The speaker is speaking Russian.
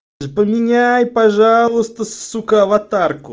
а поменяй пожалуйста сука аватарку